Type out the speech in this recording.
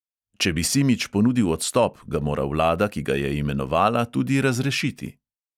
Če bi simič ponudil odstop, ga mora vlada, ki ga je imenovala, tudi razrešiti.